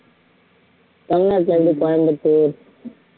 தமிழ்நாட்டுல எப்படி கோயம்பத்தூர்